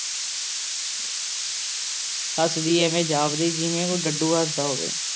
ਹੱਸਦੀ ਐਵੇਂ ਜਾਪਦੀ ਜਿਵੇਂ ਡੱਡੂ ਹੱਸਦਾ ਹੋਵੇ।